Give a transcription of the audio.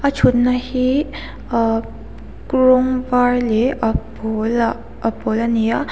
thutna hi ah rawng var leh a pawl ah a pawl a ni a.